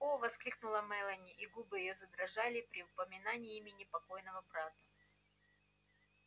о воскликнула мелани и губы её задрожали при упоминании имени покойного брата